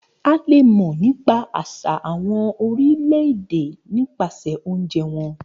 A le mọ nípa àṣà àwọn orílẹ̀-èdè nípasẹ̀ oúnjẹ wọn.